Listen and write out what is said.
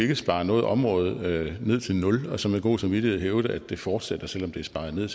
kan spare noget område ned til nul og så med god samvittighed hævde at det fortsætter selv om det er sparet ned